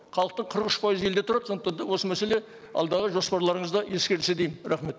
халықтың қырық үш пайызы елде тұрады сондықтан да осы мәселе алдағы жоспарларыңызда ескерілсе деймін рахмет